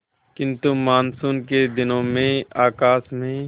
किंतु मानसून के दिनों में आकाश में